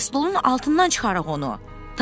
Krestlonun altından çıxaraq onu.